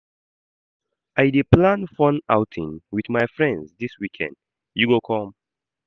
I dey plan fun outing wit my friends dis weekend, you go come?